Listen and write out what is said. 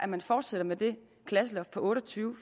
man fortsætter med det klasseloft på otte og tyve